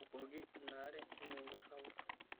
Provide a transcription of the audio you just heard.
Tubukoki inaare enyungu sapuk.